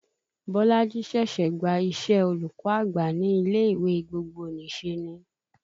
Bolaji ṣẹ̀ṣẹ̀ gba iṣẹ́ olùkọ́ àgbà ní ilé ìwé gbogbonìṣe ni